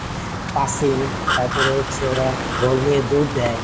passing তারপর হচ্ছে ওরা বল নিয়ে দৌড় দেয়.